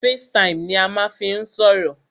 Facetime ni a máà ń fí n sọ̀rọ̀.